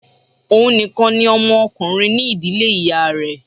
Òhun nìkan ni ọmọ ọkùnrin ní ìdílé ìyá rẹ̀